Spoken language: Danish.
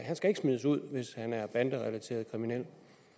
smides ud hvis han